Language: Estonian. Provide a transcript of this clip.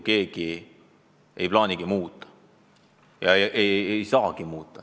Seda sundida ei saagi.